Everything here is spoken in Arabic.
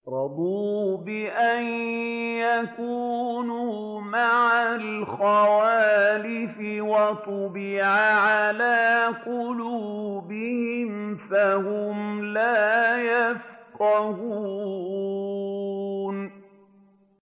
رَضُوا بِأَن يَكُونُوا مَعَ الْخَوَالِفِ وَطُبِعَ عَلَىٰ قُلُوبِهِمْ فَهُمْ لَا يَفْقَهُونَ